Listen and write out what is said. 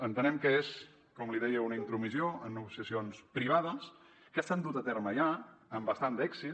entenem que és com li deia una intromissió en negociacions privades que s’han dut a terme ja amb bastant d’èxit